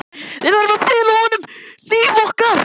Við verðum að fela honum líf okkar.